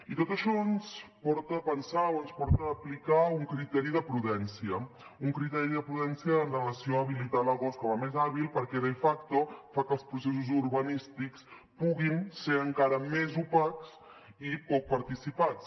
i tot això ens porta a pensar o ens porta a aplicar un criteri de prudència un criteri de prudència amb relació a habilitar l’agost com a més hàbil perquè de facto fa que els processos urbanístics puguin ser encara més opacs i poc participats